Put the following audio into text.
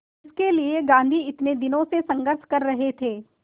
जिसके लिए गांधी इतने दिनों से संघर्ष कर रहे थे